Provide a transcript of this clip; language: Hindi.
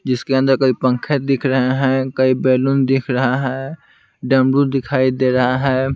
जिसके अंदर कई पंखे दिख रहे हैं कई बैलून दिख रहा है डमरू दिखाई दे रहा है।